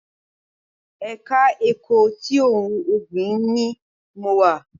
Ẹ̀ka ẹ̀kọ́ ti ohun ọ̀gbìn ni mo wà